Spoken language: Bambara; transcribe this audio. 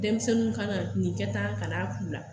Denmisɛnnin ka na nin kɛ tan kan'a k'u la.